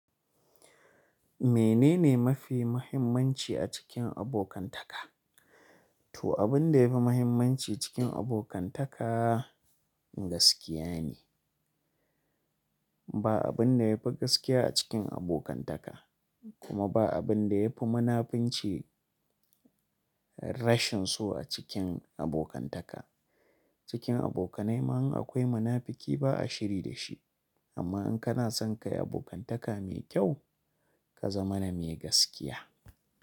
Menene mafi muhimmanci a cikin abokantaka? To abin da yafi muhimmanci cikin abokantaka gaskiya ne. Ba abin da yafi gaskiya a cikin abokantaka kuma ba abin da yafi munafunci rashin so a cikin abokantaka. Cikin abokanai ma in akwai munafuki ba a shiri da shi. Amma in kana son kayi abokantaka me kyau, ka zama na mai gaskiya.